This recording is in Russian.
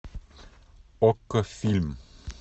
окко фильм